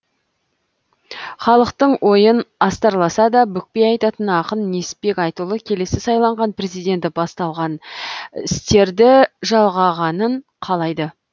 халықтың ойын астарласа да бүкпей айтатын ақын несіпбек айтұлы келесі сайланған президент басталған істерді жалғағанын қалайды